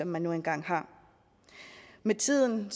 man nu engang har med tiden